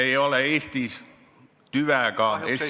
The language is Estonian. ... ei ole Eestis tüvega ST ...